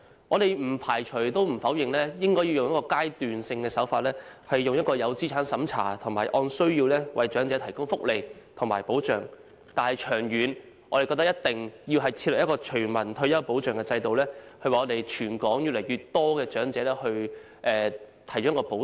我們不排除也不否認應該以階段性手法作資產審查，以及按需要為長者提供福利和保障，但長遠來說，我們認為必須設立全民退休保障制度，為全港越來越多的長者提供保障。